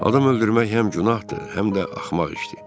Adam öldürmək həm günahdır, həm də axmaq işdir.